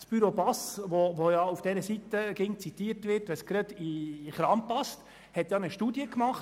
Das Büro Bass, welches, wenn es gerade gelegen kommt, auch oft von der linken Seite zitiert wird, hatte ja eine Studie gemacht.